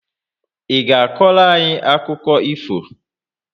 Ị ga akọrọ anyị akụkọ ifo?